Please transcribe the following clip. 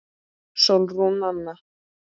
Sólrún Anna.